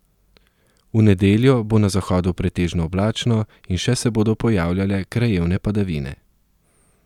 V nedeljo bo na zahodu pretežno oblačno in še se bodo pojavljale krajevne padavine.